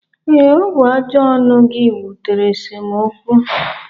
Ee, ọ bụ ajọ ọnụ gị butere esemokwu